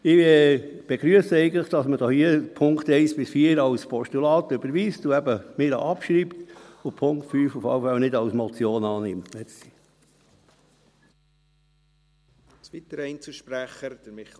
Ich begrüsse, dass man die Punkte 1 bis 4 als Postulat überweist und eben meinetwegen abschreibt, und dass man den Punkt 5 auf keinen Fall als Motion annimmt.